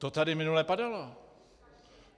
To tady minule padalo.